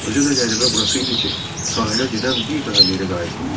Özü də qəribə burası idi ki, sahilə gedən bir daha geri qayıtmırdı.